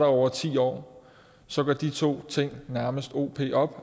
over ti år så går de to ting nærmest o p op